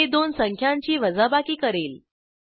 हे दोन संख्यांची वजाबाकी करेल